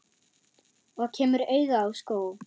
Og kemur auga á skó.